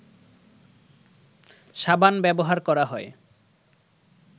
সাবান ব্যবহার করা হয়